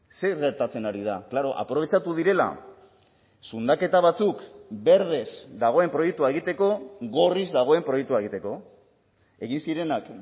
zer gertatzen ari da klaro aprobetxatu direla zundaketa batzuk berdez dagoen proiektua egiteko gorriz dagoen proiektua egiteko egin zirenak